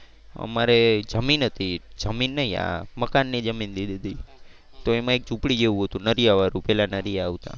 અમારે જમીન હતી જમીન નહીં મકાન ની જમીન દીધી હતી. તો એમાં એક ઝુંપડી જેવુ હતું નળિયા વાળું. પેલા નળિયા આવતા.